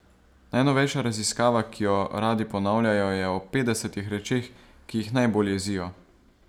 Najnovejša raziskava, ki jo radi ponavljajo, je o petdesetih rečeh, ki jih najbolj jezijo.